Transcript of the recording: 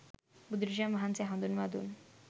බුදුරජාණන් වහන්සේ හඳුන්වා දුන්